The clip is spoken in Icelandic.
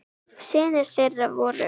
Synir þeirra voru